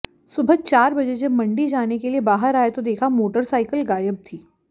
सुबह चार बजे जब मंडी जाने के लिए बाहर आया तो देखा मोटरसाइकिल गायब थी